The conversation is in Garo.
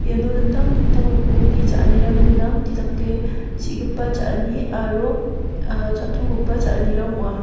iano dingtang dingtang rokomni cha·anirang gnang jedake chi·gipa cha·ani aro ah cha·togipa cha·anirang ong·a.